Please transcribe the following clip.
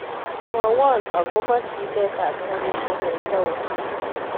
Mwowon agopo chilet ap karishek en taonit